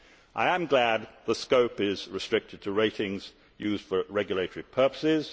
I am glad the scope is restricted to ratings used for regulatory purposes.